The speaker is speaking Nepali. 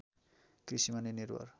कृषिमा नै निर्भर